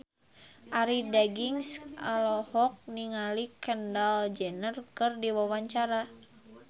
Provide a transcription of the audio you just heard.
Arie Daginks olohok ningali Kendall Jenner keur diwawancara